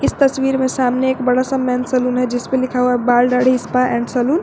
इस तस्वीर में सामने एक बड़ा सा मेन सैलून है जिस पे लिखा हुआ है बाल दाढ़ी स्पा एंड सैलून ।